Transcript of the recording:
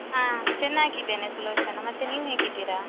ಹಾ ಚೆನ್ನಾಗಿದ್ದೇನೆ ಸುಲೋಚನಾ ಮತ್ತೆ ನೀವು ಹೇಗಿದ್ದೀರಾ?